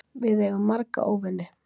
Við eigum marga óvini.